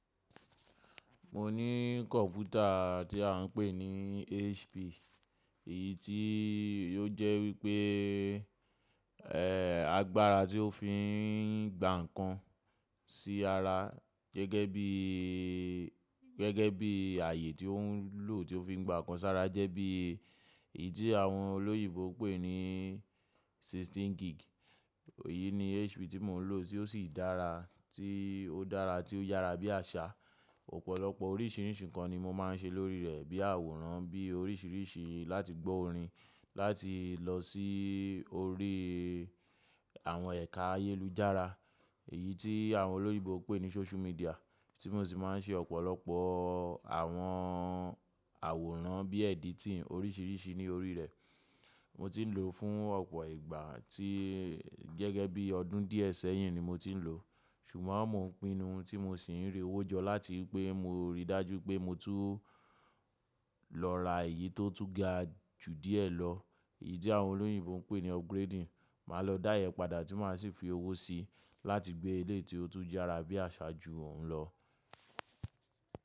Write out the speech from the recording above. Mo ní kọ̀mpútà tí à ń pè ní HP, èyí tí ó jẹ́ wípé, ẹ́, agbára tí ó fi ń gba ǹkan sí ara gẹ́gẹ́ bí, gẹ́gẹ́ bí ààyè tí ó ń lò tí ó fi ń gba ǹkan sí ara jẹ́ bí èyí tí àwọn olóyìibo pè ní sixteen gig. Èyí ni HP tí mò ń lò tí ó sì dára, tí ó dára tí ó yára bí àṣà. Ọ̀pọ̀lọpọ̀ oríṣìíríṣìí ǹkan ni mo máa ń ṣe lórí rẹ̀ bí àwòrán, bí oríṣìíríṣìí láti gbó orin, láti lọ sí orí àwọn ẹ̀ka ayélujára èyí tí àwọn olóyìibo pè ní social media tí mo sì máa ń ṣe ọ̀pọ̀lọpọ̀ àwọn àwòrán bí editing oríṣìíríṣìí ní orí rẹ̀. Mo ti ń lò ó fún ọ̀pọ̀ ìgbà, tí gẹ́gẹ́ bí ọdún díẹ̀ sẹ́yìn ni mo ti ń lò ó. Ṣùgbọ́n mò ń pinnu tí mo sì ń rí owó jọ láti pé mo rí i dájú pé mo tú lọ ra èyí tó tún ga ju díẹ̀ lọ. Èyí tí àwọn olóyìibo ń pè ní upgrading. Màá lọ dá iyẹn padà tí màá sì fi owó síi láti gbé ilé tí ó tún yára bí àṣà jù òun lọ.